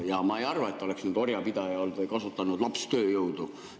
Ja ma ei arva, et ta oleks olnud orjapidaja või kasutanud lapstööjõudu.